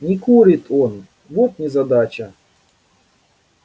не курит он вот незадача